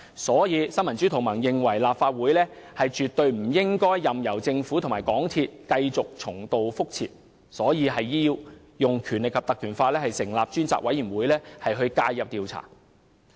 所以，新民主同盟認為，立法會絕對不應任由政府和港鐵公司重蹈覆轍，必須引用《立法會條例》成立專責委員會介入調查。